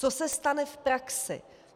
Co se stane v praxi?